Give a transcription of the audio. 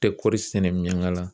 Tɛ kɔɔri sɛnɛ ɲɛnama la